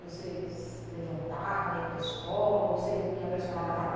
Você levantava, ia para a escola, ou você ia para a escola na parte da